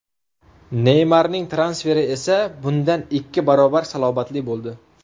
Neymarning transferi esa bundan ikki barobar salobatli bo‘ldi.